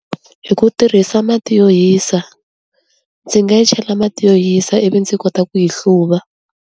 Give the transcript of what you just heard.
Hi ku tirhisa mati yo hisa ndzi nga yi chela mati yo hisa ivi ndzi kota ku yi hluva.